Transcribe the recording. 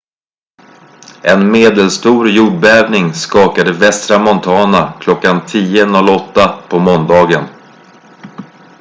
en medelstor jordbävning skakade västra montana kl. 10.08 på måndagen